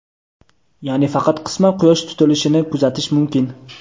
ya’ni faqat qisman Quyosh tutilishini kuzatish mumkin.